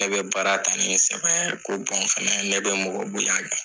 Ne bɛ baara ta ni sabɛ, ko bɔn fana ne bɛ mɔgɔ bonya.